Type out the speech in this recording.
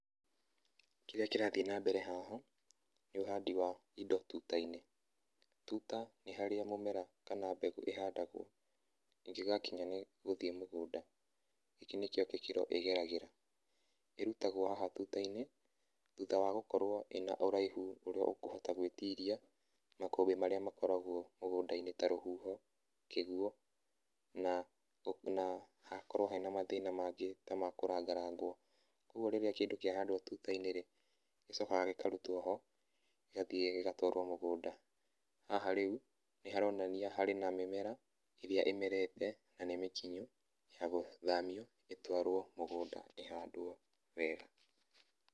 Kĩrĩa kĩrathiĩ na mbere haha, nĩ ũhandi wa indo tuta-inĩ. Tuta nĩ harĩa mũmera, kana mbegũ ihandagwo, ĩngĩgakinya nĩgũthiĩ mũgũnda, gĩkĩ nĩkĩo gĩkĩro ĩgeragĩra. Ĩrutagwo haha tuta-inĩ thutha wa gũkorwo ĩna ũraihu ũrĩa ũkũhota gwĩtiria makũmbĩ marĩa makoragwo mũgũnda-inĩ, ta rũhuho, kĩguo na, na hakorwo he na mathĩna mangĩ ta ma kũranga rangwo. Koguo rĩrĩa kĩndũ kĩahandwo tuta-inĩ rĩ, gicokaga gĩkarutwo ho, gĩgathiĩ gĩgatwarwo mũgũnda. Haha rĩu, nĩharonania harĩ na mĩmera ĩrĩa ĩmerete, na nĩmĩkinyu ya gũthamio ĩtwarwo mũgũnda ĩhandwo wega.